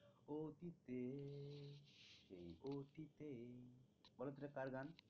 এটা কার গান?